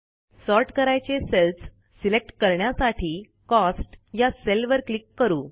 sort करायचे cells select करण्यासाठी cost या सेलवर क्लिक करू